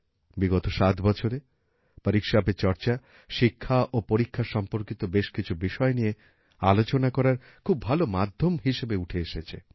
বিগত ৭ বছরে পরীক্ষা পে চর্চা শিক্ষা ও পরীক্ষা সম্পর্কিত বেশ কিছু বিষয় নিয়ে আলোচনা করার খুব ভাল মাধ্যম হিসেবে উঠে এসেছে